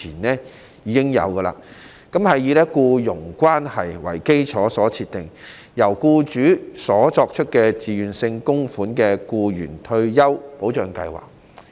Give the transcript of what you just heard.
職業退休計劃以僱傭關係為基礎，由僱主作出自願性供款，為僱員提供退休保障。